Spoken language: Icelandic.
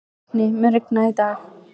Burkni, mun rigna í dag?